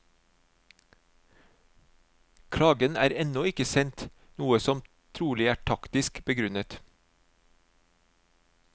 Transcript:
Klagen er ennå ikke sendt, noe som trolig er taktisk begrunnet.